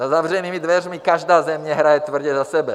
Za zavřenými dveřmi každá země hraje tvrdě za sebe.